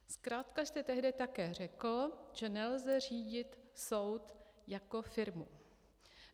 Zkrátka jste tehdy také řekl, že nelze řídit soud jako firmu.